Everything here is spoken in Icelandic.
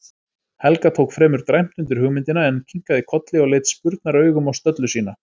Helga tók fremur dræmt undir hugmyndina, en kinkaði kolli og leit spurnaraugum á stöllu sína.